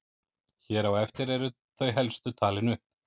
Hér á eftir eru þau helstu talin upp.